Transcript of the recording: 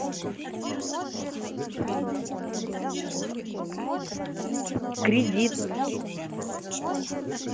кредит